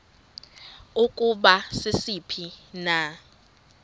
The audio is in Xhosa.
ukuba sisiphi na